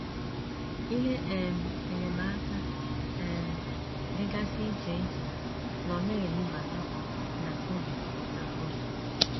Ihe um enyemaka um dịgasị iche iche nọ na - enubata na Kobe na Kobe.